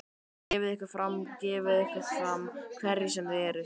Gefið ykkur fram, gefið ykkur fram, hverjir sem þið eruð.